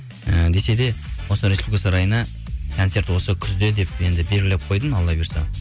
ііі десе де осы республика сарайына концерт осы күзде деп енді белгілеп қойдым алла бұйырса